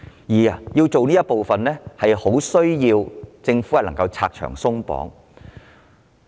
要達到此目的，政府需要拆牆鬆綁。